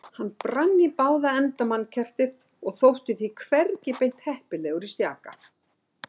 Hann brann í báða enda mannkertið og þótti því hvergi beint heppilegur í stjaka